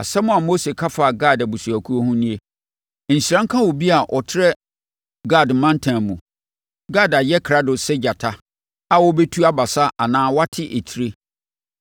Asɛm a Mose ka faa Gad abusuakuo ho nie: “Nhyira nka obi a ɔtrɛ Gad mantam mu! Gad ayɛ krado sɛ gyata a ɔrebɛtu abasa anaa wate etire.